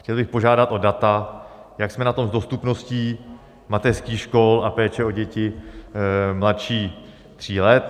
Chtěl bych požádat o data, jak jsme na tom s dostupností mateřských škol a péče o děti mladší tří let.